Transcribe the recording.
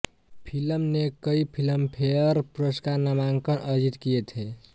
film ने कई Filmfare पुरस्कार नामांकन अर्जित किए थे